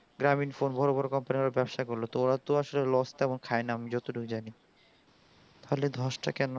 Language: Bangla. গ্রামীণ phone বোরো বোরো company গুলো ব্যাপসা করলো তোমার তো loss খায়েনা আমি যত টুকু জানি তাহলে ধস তা কেন